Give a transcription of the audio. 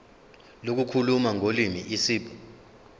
lokukhuluma ngolimi isib